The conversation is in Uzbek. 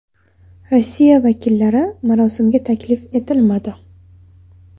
Rossiya vakillari marosimga taklif etilmadi.